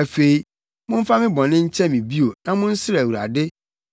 Afei, momfa me bɔne nkyɛ me bio na monsrɛ Awurade,